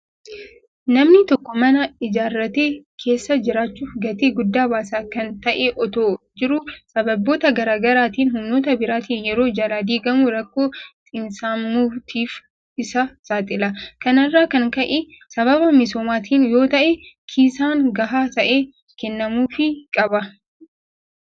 Namni tokko mana ijaarratee keessa jiraachuuf gatii guddaa baasa. Kana ta'ee ottoo jiruu sababoota garaa garaatiin humnoota biraatiin yeroo jalaa diigamu rakkoo xiinsammuutiif isa saaxila. Kana irraa kan ka'e sababa misoomaatiin yoota'e kiisaan gahaa ta'e kennamuufi qaba.